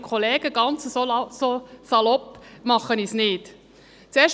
Ganz so salopp werde ich nicht sein.